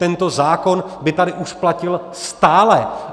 Tento zákon by tady už platil stále.